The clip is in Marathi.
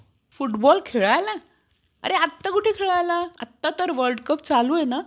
foot boll खेळायला? अरे आटा कुठे खेळायला आता तर World Cup चालूये ना?